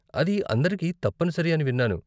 అది అందరికీ తప్పనిసరి అని విన్నాను.